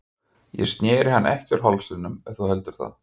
Ég sneri hann ekki úr hálsliðnum ef þú heldur það.